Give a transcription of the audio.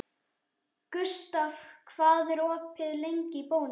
Gustav, hvað er opið lengi í Bónus?